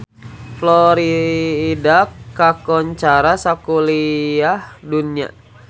Florida kakoncara sakuliah dunya